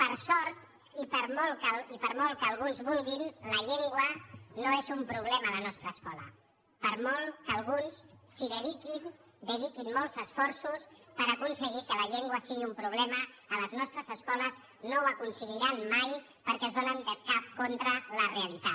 per sort i per molt que alguns vulguin la llengua no és un problema a la nostra escola per molt que alguns s’hi dediquin dediquin molts esforços per aconseguir que la llengua sigui un problema a les nostres escoles no ho aconseguiran mai perquè es donen de cap contra la realitat